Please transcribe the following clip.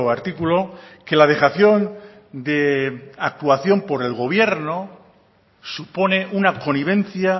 artículo que la dejación de actuación por el gobierno supone una connivencia